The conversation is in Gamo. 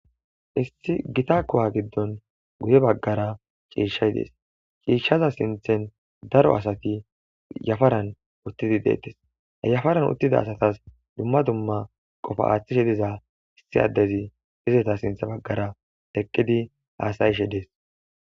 Issi gita kowa giddon guye baggara ciishshay dees ciishshaza sinthen daro asati yafaran uttidi deettes yafaran uttida asatas dumma dumma qofa aaththishe diza issi addezi izeta sintha baggara eqqidi haasayishe dees